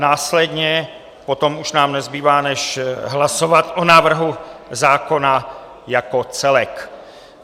Následně potom už nám nezbývá, než hlasovat o návrhu zákona jako celek.